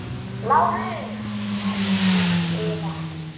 LÁRUS: Lækninn yðar?